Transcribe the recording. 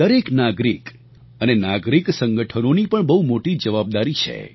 દરેક નાગરિક અને નાગરિક સંગઠનોની પણ બહુ મોટી જવાબદારી છે